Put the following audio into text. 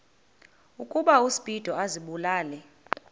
ukuba uspido azibulale